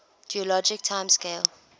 geologic time scale